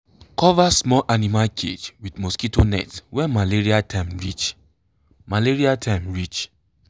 cover small animal cage with mosquito net when malaria time reach. malaria time reach.